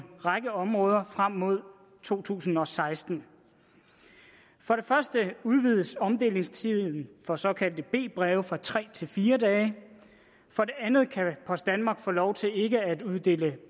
række områder frem mod to tusind og seksten for det første udvides omdelingstiden for såkaldte b breve fra tre til fire dage for det andet kan post danmark få lov til ikke at uddele